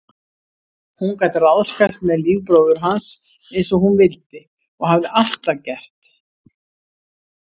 Hún gat ráðskast með líf bróður hans einsog hún vildi og hafði alltaf gert.